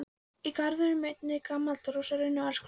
Í garðinum er einnig gamall rósarunni og alls konar blóm.